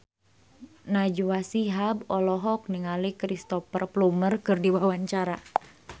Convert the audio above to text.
Najwa Shihab olohok ningali Cristhoper Plumer keur diwawancara